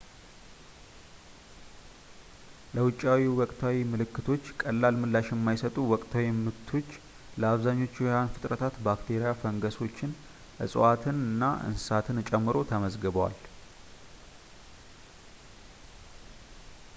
ለውጫዊ ወቅታዊ ምልክቶች ቀላል ምላሽ የማይሰጡ ወቅታዊ ምቶች ለአብዛኞቹ ሕያዋን ፍጥረታት ባክቴሪያ ፣ ፈንገሶችን ፣ እፅዋትንና እንስሳትን ጨምሮ ተመዝግበዋል